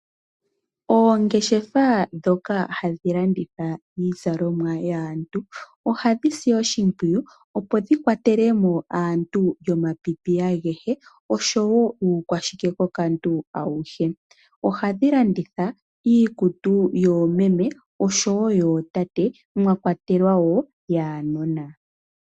Oongeshefa dhoka hadhi landitha iizalomwa yaantu, ohadhi zi oshimpwiyu opo dhi kwatelemo yomapipi agehe oshowo uukwashikekokantu awuhe. Ohadhi landitha iikutu yoomeme oshowo yootate, mwa kwatelwa wo yaanona.